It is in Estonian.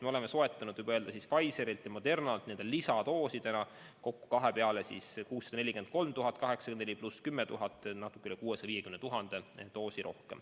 Me oleme soetanud Pfizerilt ja Modernalt lisadoosidena kokku kahe peale 643 804 pluss 10 000 ehk siis natuke üle 650 000 doosi.